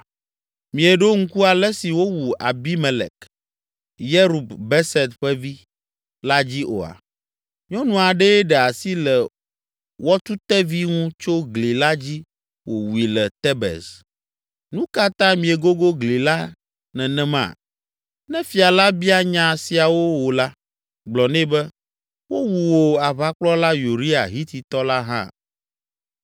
Mieɖo ŋku ale si wowu Abimelek, Yerub Beset ƒe vi, la dzi oa? Nyɔnu aɖee ɖe asi le wɔtutevi ŋu tso gli la dzi wòwui le Tebez. Nu ka ta miegogo gli la nenema?’ Ne Fia la bia nya siawo wò la, gblɔ nɛ be, ‘Wowu wò aʋakplɔla Uria, Hititɔ la hã.’ ”